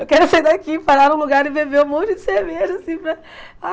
Eu quero sair daqui, parar num lugar e beber um monte de cerveja assim para ah.